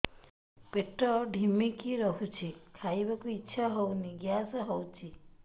ପେଟ ଢିମିକି ରହୁଛି ଖାଇବାକୁ ଇଛା ହଉନି ଗ୍ୟାସ ହଉଚି